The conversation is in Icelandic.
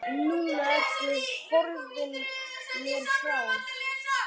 Núna ertu horfin mér frá.